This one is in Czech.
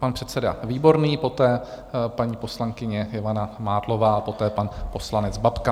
Pan předseda Výborný, poté paní poslankyně Ivana Mádlová, poté pan poslanec Babka.